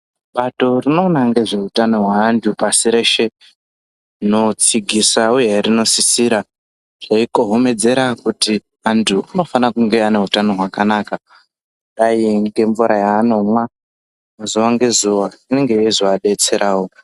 Bato rinoona ngezvee utano hweanhu pasi reshe rinotsigisa uye rinosisira reikohomedzera kuti antu anofane kunge ane utano hwakanaka kudai ngemvura yaanomwa zuwa ngezuwa inenge yeizoadetserawo.